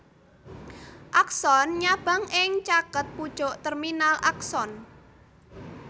Akson nyabang ing caket pucuk terminal akson